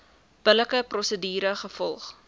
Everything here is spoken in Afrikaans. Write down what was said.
billike prosedure gevolg